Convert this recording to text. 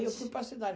eu fui para a cidade.